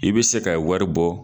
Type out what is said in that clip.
I bɛ se ka wari bɔ